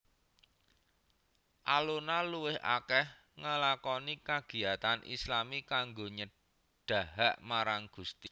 Alona luwih akeh ngelakoni kagiyatan islami kanggo nyedahak marang Gusti